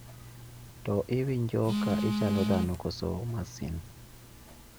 To iwinjo ka ichalo dhano koso masin